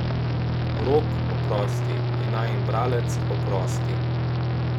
Rok, oprosti, in najin bralec, oprosti.